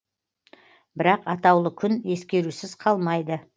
бірақ атаулы күн ескерусіз қалмайды